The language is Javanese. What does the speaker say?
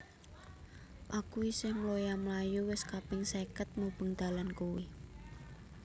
Aku isih mloya mlayu wis kaping seket mubeng dalan kui